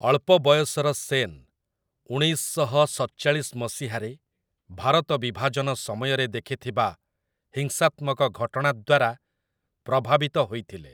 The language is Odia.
ଅଳ୍ପ ବୟସର ସେନ୍, ଉଣେଇଶ ଶହ ସତଚାଳିଶ ମସିହାରେ ଭାରତ ବିଭାଜନ ସମୟରେ ଦେଖିଥିବା ହିଂସାତ୍ମକ ଘଟଣା ଦ୍ୱାରା ପ୍ରଭାବିତ ହୋଇଥିଲେ ।